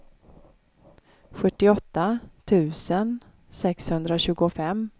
sjuttioåtta tusen sexhundratjugofem